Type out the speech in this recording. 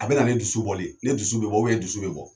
A be na ni dusu bɔli ye. Ne dusu be bɔ e dusu be bɔ.